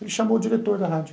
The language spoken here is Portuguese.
Ele chamou o diretor da rádio.